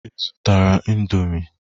Ị zụtara indọmii?